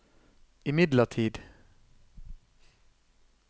imidlertid